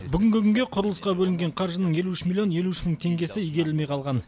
бүгінгі күнде құрылысқа бөлінген қаржының елу үш миллион елу үш мың теңгесі игерілмей қалған